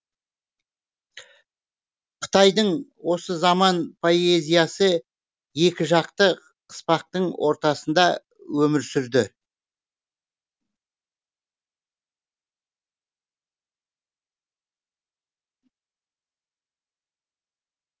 қытайдың осы заман поэзиясы екі жақты қыспақтың ортасында өмір сүрді